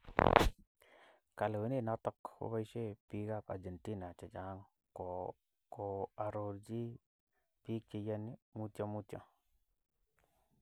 Kalewenet noto koboisie bik ab Argentina chechang koarorchi bik cheyani mutyo mutyo.